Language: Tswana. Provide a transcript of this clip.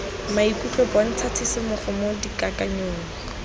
maikutlo bontsha tshisimogo mo dikakanyong